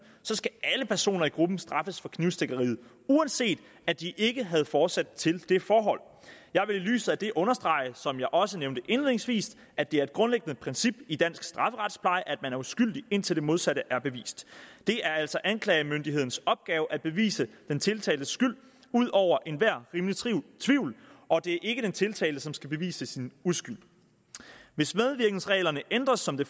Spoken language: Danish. så skal alle personer i gruppen straffes for knivstikkeriet uanset at de ikke havde forsæt til det forhold jeg vil i lyset af det understrege som jeg også nævnte indledningsvis at det er et grundlæggende princip i dansk strafferetspleje at man er uskyldig indtil det modsatte er bevist det er altså anklagemyndighedens opgave at bevise den tiltaltes skyld ud over enhver rimelig tvivl og det er ikke den tiltalte som skal bevise sin uskyld hvis medvirkensreglerne ændres som det